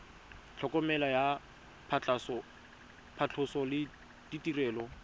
tlhokomelo ya phatlhoso le ditirelo